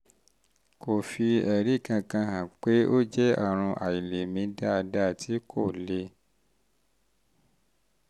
kò fi fi ẹ̀rí kankan hàn pé ó jẹ́ àrùn àìlèmí dáadáa tí kò le